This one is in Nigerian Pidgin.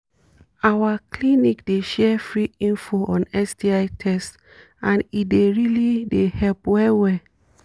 our clinic dey share free info on sti test and e dey really dey help well well